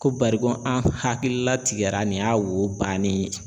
Ko bari ko an hakilila tigɛra nin y'a wo bannen ye.